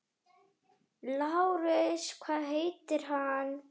LÁRUS: Hvað heitir hann?